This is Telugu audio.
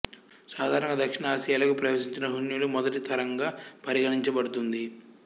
సాధారణంగా దక్షిణ ఆసియాలోకి ప్రవేశించిన హ్యూణుల మొదటి తరంగా పరిగణించబడుతుంది